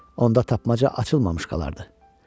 Onda tapmaca açılmamış qalardı.